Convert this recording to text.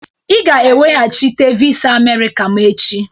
Ịga-eweghachite visa Amerika m echi!